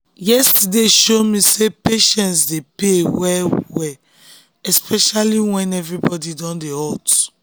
yesterday show me say patience dey pay especially when everywhere don dey hot.